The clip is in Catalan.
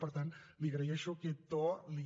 per tant li agraeixo aquest to li